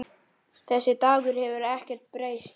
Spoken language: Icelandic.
Þessi Dagur hefur ekkert breyst.